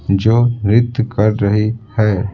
जो नृत्य कर रही है।